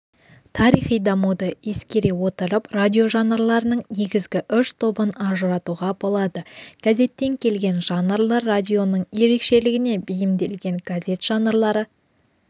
тарихи дамуды ескере отырып радиожанрларының негізгі үш тобын ажыратуға болады газеттен келген жанрлар радионың ерекшелігіне бейімделген газет жанрлары